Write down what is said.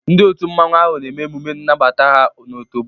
Ndi otu mmanwu ahu na eme emume nnabata ha n' otobo.